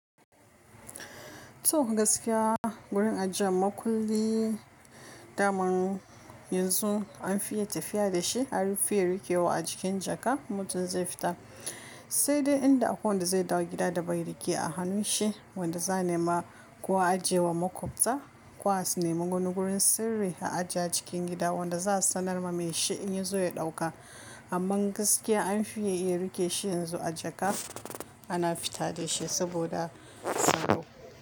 To gaskiya gurin ajiyan makulli daman yanzu an fiye tafiya da shi an fiye rike wa a cikin jaka in mutum zai fita, sai dai inda akwai wanda zai dawo gida da bai rike a hannun shi, wanda za a nema kuwa ajiye wa makubta, ko a sunema wani gurin sirri a ajiye cikin gida wanda za a sanar ma mai shi in ya zo ya ɗauka. Amma gaskiya an fiye iya rike shi yanzu a jaka ana fita da shi saboda tsaro.